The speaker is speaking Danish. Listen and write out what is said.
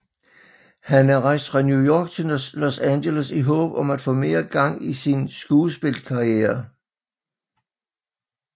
Han er rejst fra New York til Los Angeles i håb om at få mere gang i sin skuespillerkarriere